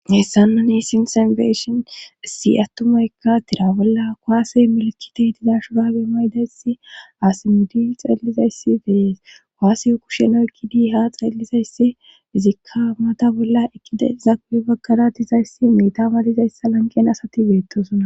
Hessanna ni sinsembeshin issi attumaykka tira bolla koaase melikite dizashurabe maydayssi asimidi xeellizayssi beyees koaseyo kusheno ekkidi ha xeelizayssi izikka mata bolla ekkide iza kupe baggara dizayssi meta baadizayssa lanqen asati beettosuna.